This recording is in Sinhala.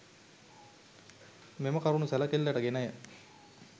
මෙම කරුණු සැලකිල්ලට ගෙනය.